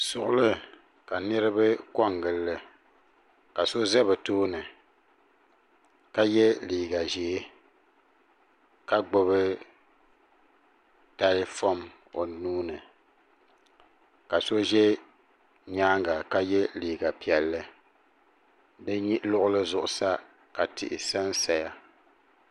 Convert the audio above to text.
Suɣuli ka niriba kongilli ka so ʒɛ bɛ tooni ka ye liiga ʒee ka gbibi telefom o nuuni ka so ʒɛ nyaanga ka ye liiga piɛlli bɛ luɣuli zuɣu sa ka tihi sansaya.